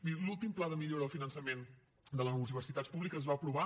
miri l’últim pla de millora del finançament de les universitats públiques es va aprovar